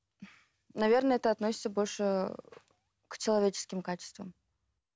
наверное это относится больше к человеческим качеством